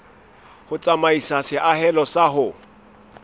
ho tsamaisa seahelo sa ho